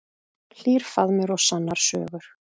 Hlýr faðmur og sannar sögur.